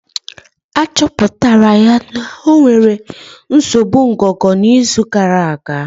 Achọpụtara ya na ọ nwere nsogbu ngụgụ na izu gara aga